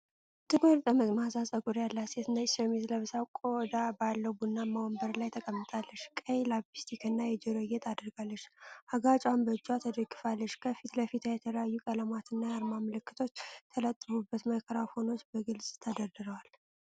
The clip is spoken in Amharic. ጥቁር ጠመዝማዛ ፀጉር ያላት ሴት ነጭ ሸሚዝ ለብሳ፣ ቆዳ ባለው ቡናማ ወንበር ላይ ተቀምጣለች። ቀይ ሊፕስቲክና የጆሮ ጌጥ አድርጋ፣ አገጯን በእጅዋ ተደግፋለች። ከፊት ለፊቷ በተለያዩ ቀለማትና የአርማ ምልክቶች የተለጠፉ ማይክሮፎኖች በግልጽ ተደርድረዋል።